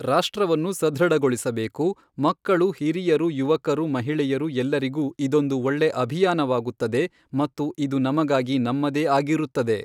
ರಾಷ್ಟ್ರವನ್ನು ಸಧೃಡಗೊಳಿಸಬೇಕು ಮಕ್ಕಳು, ಹಿರಿಯರು, ಯುವಕರು, ಮಹಿಳೆಯರು ಎಲ್ಲರಿಗು ಇದೊಂದು ಒಳ್ಳೆ ಅಭಿಯಾನವಾಗುತ್ತದೆ ಮತ್ತು ಇದು ನಮಗಾಗಿ ನಮ್ಮದೇ ಆಗಿರುತ್ತದೆ.